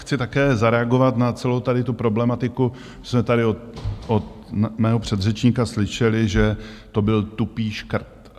Chci také zareagovat na celou tady tu problematiku, co jsme tady od mého předřečníka slyšeli, že to byl tupý škrt.